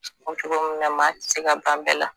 O bi cogo min na maa ti se ka ban bɛɛ la